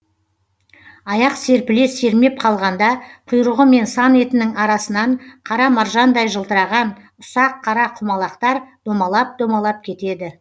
аяқ серпіле сермеп қалғанда құйрығы мен сан етінің арасынан қара маржандай жылтыраған ұсақ қара құмалақтар домалап домалап кетеді